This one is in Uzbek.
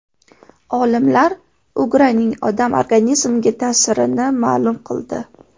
Olimlar ugraning odam organizmiga ta’sirini ma’lum qildi.